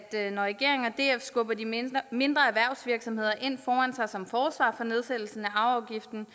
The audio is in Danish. at når regeringen og df skubber de mindre mindre erhvervsvirksomheder ind foran sig som forsvar for nedsættelsen af arveafgiften